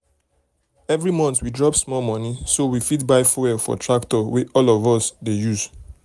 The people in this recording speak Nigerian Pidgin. every month we drop small money so we fit buy fuel for tractor wey all of us dey use.